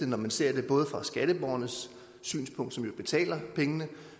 når man ser det fra skatteborgernes synspunkt som betaler pengene